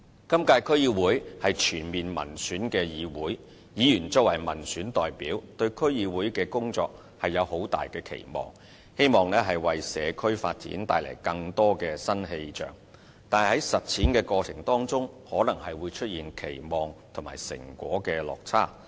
今屆區議會是全面民選的議會，議員作為民選代表，對區議會的工作有很大的期望，希望為社區發展帶來更多新氣象，但在實踐的過程當中可能出現期望與成果的落差。